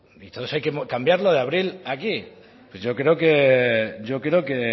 todo eso hay que cambiarlo de abril a aquí pues